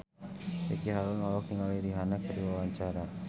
Ricky Harun olohok ningali Rihanna keur diwawancara